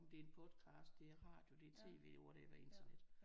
Om det er en podcast det er radio det er tv eller whatever internet